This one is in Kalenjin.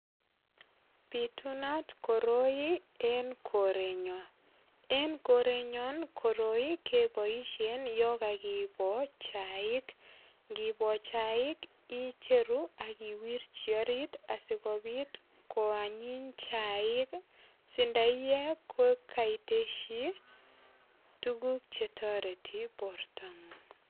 Pitunat koroi en korenyon. En korenyon koroi keboisie yon kakibo chaik. Ngibo chaik icheru ak iwirchi orit asigopit koanyiny chaik si ndaiyee kokaitesyi tuguk chetoreti bortangung.